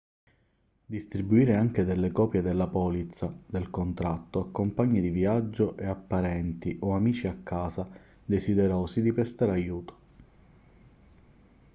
distribuire anche delle copie della polizza/del contatto a compagni di viaggio e a parenti o amici a casa desiderosi di prestare aiuto